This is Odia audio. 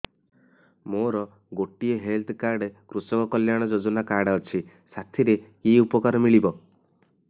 ମୋର ଗୋଟିଏ ହେଲ୍ଥ କାର୍ଡ କୃଷକ କଲ୍ୟାଣ ଯୋଜନା କାର୍ଡ ଅଛି ସାଥିରେ କି ଉପକାର ମିଳିବ